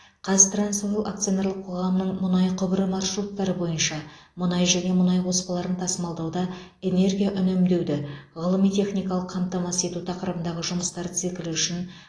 қазтрансойл акционерлік қоғамының мұнай құбыры маршруттары бойынша мұнай және мұнай қоспаларын тасымалдауда энергия үнемдеуді ғылыми техникалық қамтамасыз ету тақырыбындағы жұмыстар циклі үшін